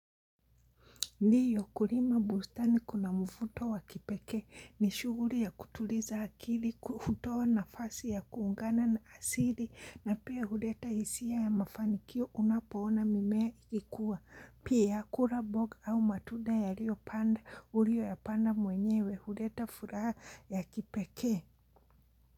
Ndiyo kulima bustani kuna mfuto wa kipekee ni shuguri ya kutuliza akili, kuhutoa nafasi ya kuungana na asili na pia huleta isia ya mafanikio unapoona mimea ikikua. Pia kura boga au matuda urio yapanda mwenyewe huleta furaha ya kipekee.